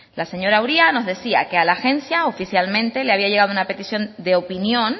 la señora uria nos decía que a la agencia oficialmente le había llegado una petición de opinión